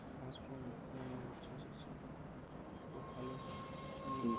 হাসুন ও আচ্ছা আচ্ছা আচ্ছা খুব ভালো